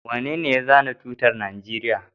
Wanene ya zana tutar Najeriya?